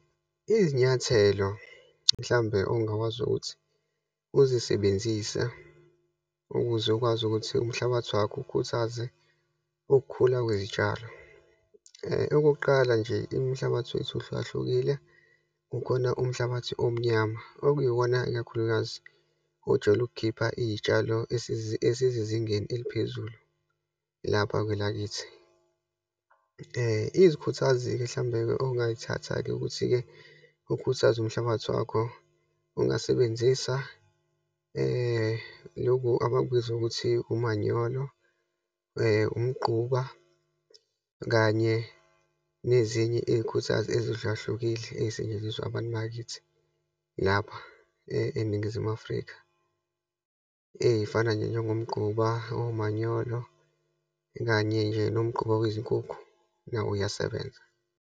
Izinyathelo, mhlawumbe ongakwazi ukuthi uzisebenzise ukuze ukwazi ukuthi umhlabathi wakho ukhuthaze ukukhula kwezitshalo. Okokuqala nje, imihlabathi wethu ihlukahlukile, kukhona umhlabathi omnyama okuyiwona, ikakhulukazi ojwayele ukukhipha iyitshalo esizingeni eliphezulu lapha kwelakithi. Iyikhuthazi-ke, mhlawumbe ongayithatha-ke ukuthi-ke ukhuthaze umhlabathi wakho, ungasebenzisa lokhu abakubiza ukuthi, umanyolo, umqquba kanye nezinye iyikhuthazi ezihlukahlukile eyisetshenziswa abantu bakithi, lapha eNingizimu Afrika. Eyifana nje njengoumgquba, omanyolo kanye nje nomgquba wezinkukhu, nawo uyasebenza.